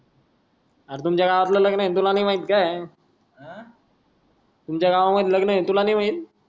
अरे तुमचा गावातल लग्नन आहेत तुला नय माहित काय हा तुमचा गावामध्ये लगन तुला नाय माहित